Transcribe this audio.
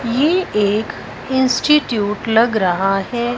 ये एक इंस्टिट्यूट लग रहा है।